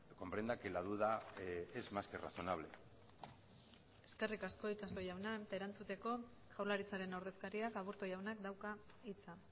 comprenda que la duda es más que razonable eskerrik asko itxaso jauna erantzuteko jaurlaritzaren ordezkariak aburto jaunak dauka hitza